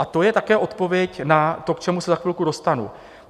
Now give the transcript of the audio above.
A to je také odpověď na to, k čemu se za chvilku dostanu.